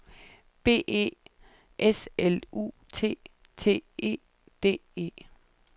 B E S L U T T E D E